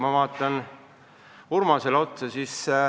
Ma vaatan praegu Urmasele otsa.